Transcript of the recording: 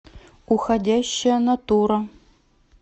уходящая натура